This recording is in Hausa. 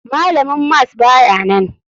Malamin mas bayanan.